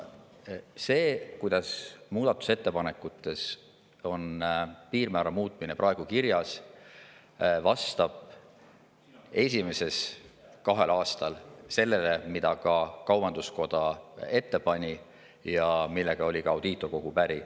See, kuidas on muudatusettepanekutes praegu piirmäära muutmine esimesel kahel aastal kirjas, vastab sellele, mida ka kaubanduskoda ette pani ja millega oli ka Audiitorkogu päri.